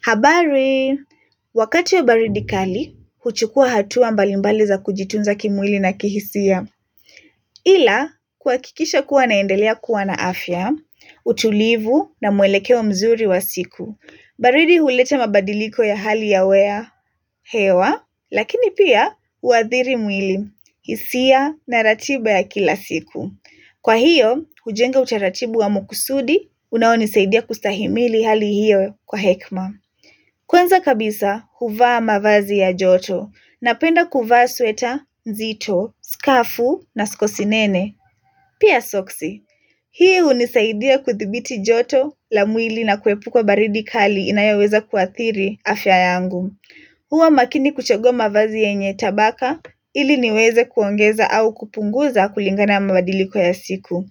Habari, wakati ya baridi kali, huchukua hatua mbalimbali za kujitunza kimwili na kihisia. Ila, kuhakikisha kuwa naendelea kuwa na afya, utulivu na mwelekeo mzuri wa siku. Baridi huleta mabadiliko ya hali ya hewa, lakini pia uathiri mwili, hisia na ratiba ya kila siku. Kwa hiyo, hujenga utaratibu wa makusudi, unaonisaidia kustahimili hali hiyo kwa hekima. Kwanza kabisa huvaa mavazi ya joto napenda kuvaa sweta, nzito, skafu na skosinene. Pia sokisi. Hii hunisaidia kuthibiti joto la mwili na kuepuka kwa baridi kali inayoweza kuathiri afya yangu. Huwa makini kuchagua mavazi yenye tabaka ili niweze kuongeza au kupunguza kulingana mabadiliko ya siku.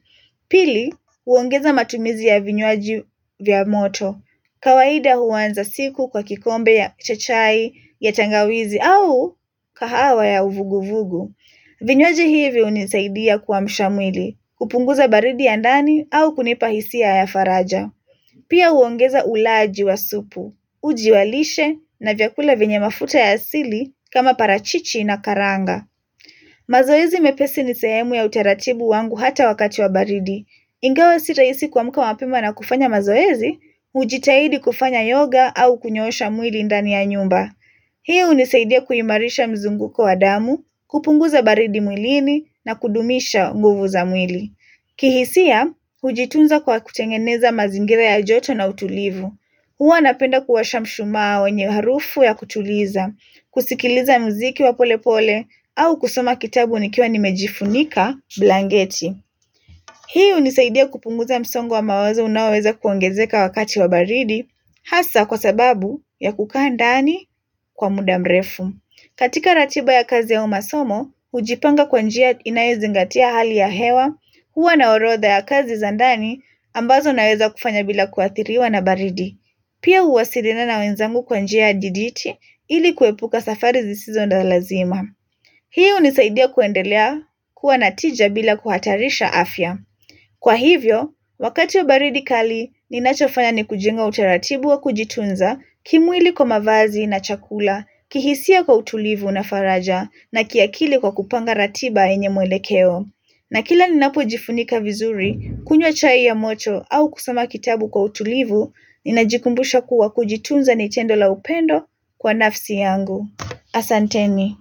Pili, huongeza matumizi ya vinywaji vya moto. Kawaida huanza siku kwa kikombe ya cha chai, ya tangawizi au kahawa ya uvuguvugu. Vinywaji hivi hunisaidia kuamsha mwili, kupunguza baridi ya ndani au kunipa hisia ya faraja. Pia huongeza ulaji wa supu, uji wa lishe na vyakula venye mafuta ya asili kama parachichi na karanga. Mazoezi mepesi ni sehemu ya utaratibu wangu hata wakati wa baridi. Ingawa si rahisi kuamka mapema na kufanya mazoezi, hujitahidi kufanya yoga au kunyoosha mwili ndani ya nyumba. Hii hunisaidia kuimarisha mzunguko wa damu, kupunguza baridi mwilini na kudumisha nguvu za mwili. Kihisia, hujitunza kwa kutengeneza mazingira ya joto na utulivu. Huwa napenda kuwasha mshumaa wenye harufu ya kutuliza, kusikiliza muziki wa pole pole au kusoma kitabu nikiwa nimejifunika blanketi. Hii hunisaidia kupunguza msongo mawazo unaoweza kuongezeka wakati wa baridi hasa kwa sababu ya kukaa ndani kwa muda mrefu. Katika ratiba ya kazi au masomo, hujipanga kwa njia inayozingatia hali ya hewa huwa na orodha ya kazi za ndani ambazo naweza kufanya bila kuathiriwa na baridi. Pia huwasiliana na wenzangu kwa njia dijiti ili kuepuka safari zisizo za lazima. Hii hunisaidia kuendelea kuwa na tija bila kuhatarisha afya. Kwa hivyo, wakati wa baridi kali, ninachofanya ni kujenga utaratibu wa kujitunza kimwili kwa mavazi na chakula, kihisia kwa utulivu na faraja na kiakili kwa kupanga ratiba yenye mwelekeo. Na kila ninapojifunika vizuri, kunywa chai ya moto au kusoma kitabu kwa utulivu, ninajikumbusha kuwa kujitunza ni tendo la upendo kwa nafsi yangu. Asanteni.